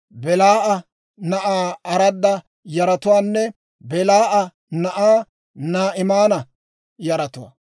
Belaa'a na'aa Arada yaratuwaanne Belaa'a na'aa Naa'imaana yaratuwaa.